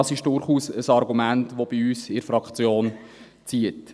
Das ist durchaus ein Argument, welches bei uns in der Fraktion zieht.